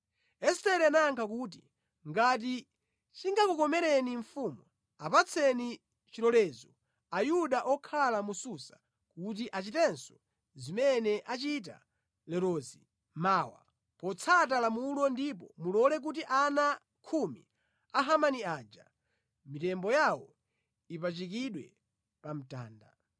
Estere anayankha kuti, “Ngati chingakukomereni mfumu, apatseni chilolezo Ayuda okhala mu Susa kuti achitenso zimene achita lerozi mawa, potsata lamulo ndipo mulole kuti ana khumi a Hamani aja mitembo yawo ipachikidwe pa mtanda.”